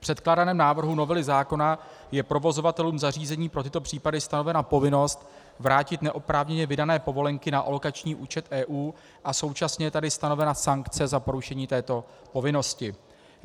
V předkládaném návrhu novely zákona je provozovatelům zařízení pro tyto případy stanovena povinnost vrátit neoprávněně vydané povolenky na alokační účet EU a současně je tady stanovena sankce za porušení této povinnosti.